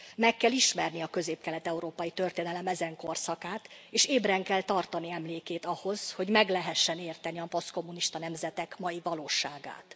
Meg kell ismerni a közép kelet európai történelem ezen korszakát és ébren kell tartani emlékét ahhoz, hogy meg lehessen érteni a posztkommunista nemzetek mai valóságát.